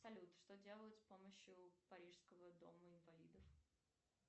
салют что делать с помощью парижского дома инвалидов